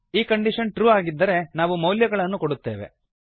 ಈ condition true ಆಗಿದ್ದರೆ ನಾವು ಮೌಲ್ಯಗಳನ್ನು ಕೂಡುತ್ತೇವೆ